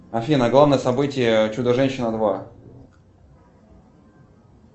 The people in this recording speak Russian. афина главное событие чудо женщина два